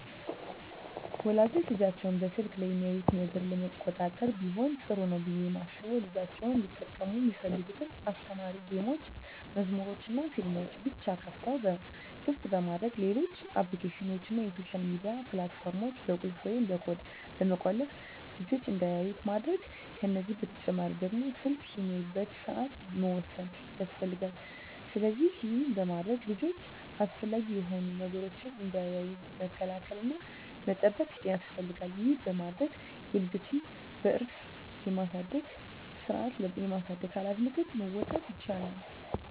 ወላጆች ልጆቻቸው በስልክ ላይ የሚያዩትን ነገር ለመቆጣጠር ቢሆን ጥሩ ነው ብየ ማስበው ልጆቻቸው እንዲጠቀሙ ሚፈልጉትን አስተማሪ ጌሞችን፣ መዝሙሮችንናፊልሞችን ብቻ ክፍት በማድረግ ሌሎች አፕሊኬሽኖችን እና የሶሻል ሚዲያ ፕላት ፎርሞችን በቁልፍ ወይም በኮድ በመቆለፍ ልጅች እንዳያዩት ማድረግ ከዚህ በተጨማሪ ደግሞ ስልክ የሚያዩበትን ሰአት መወሰን ያስፈልጋል። ስለዚህ ይህን በማድረግ ልጆች አላስፈላጊ የሆኑ ነገሮችን እንዳያዩ መከላከል እና መጠበቅ ያስፈልጋል ይህን በማድረግ የልጆችን በስርአት የማሳደግ ሀላፊነቶችን መወጣት ይቻላል።